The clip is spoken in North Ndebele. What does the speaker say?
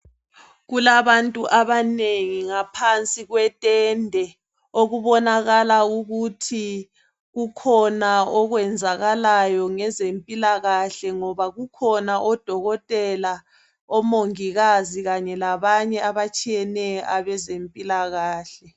Kulabantu abanengi ngaphansi kwetende okubonakala ukuthi kukhona okwenzakalayo ngezempilakahle ngoba kukhona odokotela omongikazi kanye labanye abatshiyeneyo abezempilakahle